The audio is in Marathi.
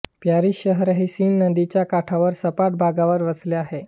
पॅरिस शहर सीन नदीच्या काठांवर सपाट भागावर वसले आहे